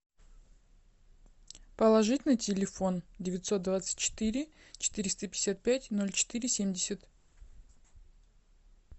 положить на телефон девятьсот двадцать четыре четыреста пятьдесят пять ноль четыре семьдесят